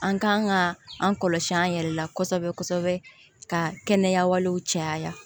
An kan ka an kɔlɔsi an yɛrɛ la kosɛbɛ kosɛbɛ ka kɛnɛya walew caya